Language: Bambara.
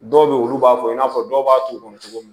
Dɔw be ye olu b'a fɔ i n'a fɔ dɔw b'a turu kɔnɔ cogo min